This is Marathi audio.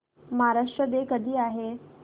महाराष्ट्र डे कधी आहे